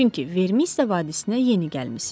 Çünki Vermisiya vadisinə yeni gəlmisiz.